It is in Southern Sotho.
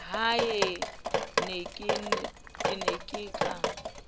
ha e ne e ka